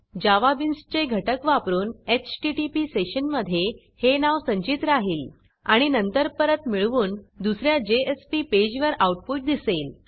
जावा बीन्सचे घटक वापरून एचटीटीपी सेशनमधे हे नाव संचित राहिल आणि नंतर परत मिळवून दुस या जेएसपी पेजवर आऊटपुट दिसेल